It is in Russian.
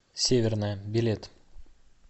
северная билет